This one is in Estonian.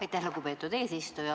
Aitäh, lugupeetud eesistuja!